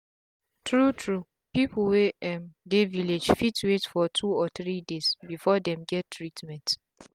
tru tru pipu wey um dey village fit wait for two or three days before dem get treatment